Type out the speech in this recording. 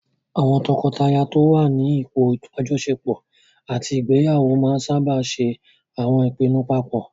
Àwọn tọkọtaya tó n wà ní ipò àjọṣepọ̀ àti ìgbéyàwó máa n sáábà ṣe àwọn ìpinnu paapọ̀